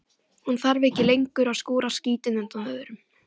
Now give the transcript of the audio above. Hún þarf ekki lengur að skúra skítinn undan öðrum.